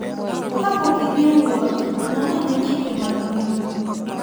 Kapok idhi e wuoth, non ane chike mag pinyno.